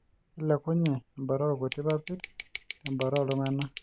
kelekunye ebata oorkuti papit tebata ooltungana.